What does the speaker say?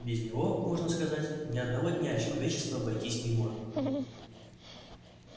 без него можно сказать ни одного дня человечество обойтись не может